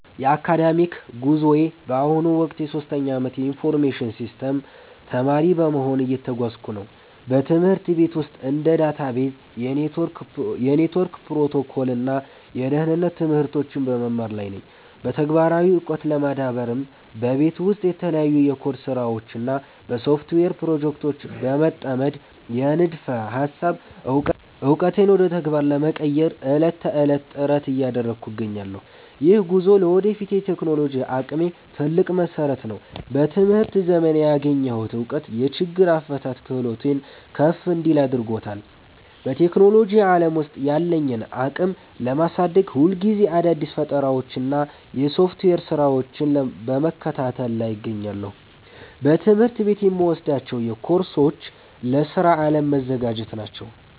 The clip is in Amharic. የአካዳሚክ ጉዞዬ በአሁኑ ወቅት የሶስተኛ ዓመት የኢንፎርሜሽን ሲስተምስ ተማሪ በመሆን እየተጓዝኩበት ነው። በትምህርት ቤት ውስጥ እንደ ዳታቤዝ፣ የኔትወርክ ፕሮቶኮል እና የደህንነት ትምህርቶችን በመማር ላይ ነኝ። በተግባራዊ ዕውቀት ለመዳበርም በቤት ውስጥ በተለያዩ የኮድ ስራዎች እና በሶፍትዌር ፕሮጀክቶች በመጠመድ፣ የንድፈ ሃሳብ ዕውቀቴን ወደ ተግባር ለመቀየር ዕለት ተዕለት ጥረት እያደረግኩ እገኛለሁ። ይህ ጉዞ ለወደፊት የቴክኖሎጂ አቅሜ ትልቅ መሰረት ነው። በትምህርት ዘመኔ ያገኘሁት እውቀት የችግር አፈታት ክህሎቴን ከፍ እንዲል አድርጎታል። በቴክኖሎጂ ዓለም ውስጥ ያለኝን አቅም ለማሳደግ፣ ሁልጊዜ አዳዲስ ፈጠራዎችንና የሶፍትዌር ስራዎችን በመከታተል ላይ እገኛለሁ። በትምህርት ቤት የምወስዳቸው ኮርሶች ለስራ ዓለም መዘጋጃ ናቸው